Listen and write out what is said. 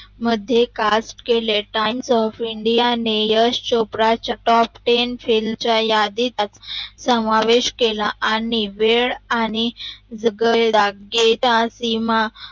मध्ये कास्ट केले Times of india ने यश चोपडाच्या टॉप टेन फैलचा यादीत समावेश केला आणि वेड आणि गैराग्य त्या सिनेमा